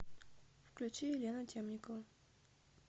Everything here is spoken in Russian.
включи елену темникову